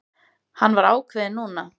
Hann var ákveðinn núna.